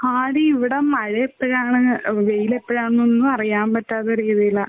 ആടി ഇവിടെ മഴ എപ്പഴാണ് വെയില് എപ്പഴാന്നൊന്നും അറിയാൻ പറ്റാത്ത രീതിയിലാ.